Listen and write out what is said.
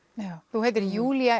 þú heitir Júlía